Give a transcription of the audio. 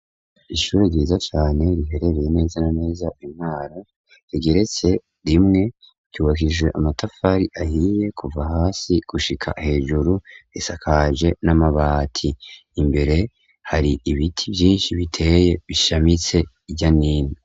Ishuri ryiza cane riherereye neza neza i mwaro rigeretse rimwe ryubakishije amatafari ahiye kuva hasi gushika hejuru isakaje n'amabati imbere hari ibiti vyinshi biteye bishamitse hirya no hino.